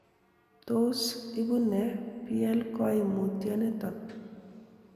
Tos ibu nee plkoimutioniton?